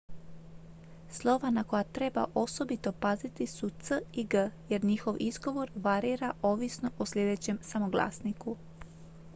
slova na koja treba osobito paziti su c i g jer njihov izgovor varira ovisno o sljedećem samoglasniku